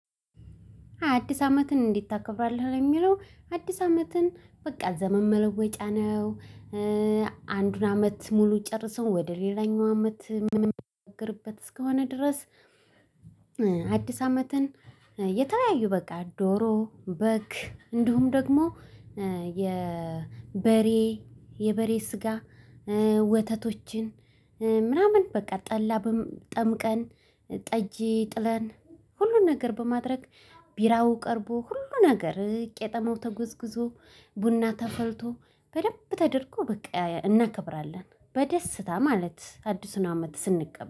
አዲስ አመትን እንዴት ታከብራለህ? ለሚለው አዲስ አመትን በቃ ዘመን መለወጫ ነው። አንዱን አመት ሙሉ ጨርሰው ወደ ሌላኛው አመት ምንም የሚሻገርበት እስከሆነ ድረስ። አዲስ አመትን የተለያዩ በቃ ዶሮ በግ እንዲሁም ደግሞ የበሬ የበሬ ስጋ ወተቶችን ምናምን በቃ ጠላ ጠምቀን ጠጅ ጥለን ሁሉን ነገር በማድረግ ቢራው ቀርቦ ሁሉ ነገር ቄጠመው ተጎዝጉዞ ቡና ተፈልቶ በደንብ ተደርጎ በቃ እናከብራለን በደስታ ማለት አዲሱን አመት ስንቀበል